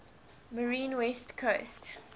marine west coast